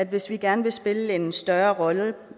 hvis vi gerne vil spille en større rolle